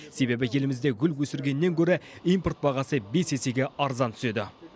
себебі елімізде гүл өсіргеннен гөрі импорт бағасы бес есеге арзан түседі